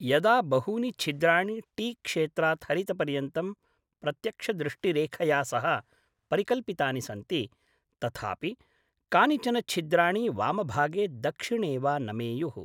यदा बहूनि छिद्राणि टी क्षेत्रात् हरितपर्यन्तं प्रत्यक्षदृष्टिरेखया सह परिकल्पितानि सन्ति तथापि कानिचन छिद्राणि वामभागे दक्षिणे वा नमेयुः।